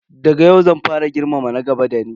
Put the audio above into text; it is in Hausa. Daga yau zan fara girmama na gaba da ni.